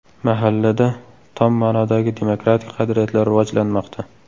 Mahallada tom ma’nodagi demokratik qadriyatlar rivojlanmoqda.